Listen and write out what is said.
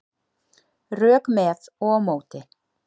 Rök með og á móti